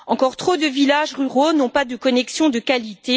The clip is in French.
Encore trop de villages ruraux n'ont pas de connexion de qualité.